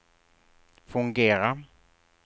fungera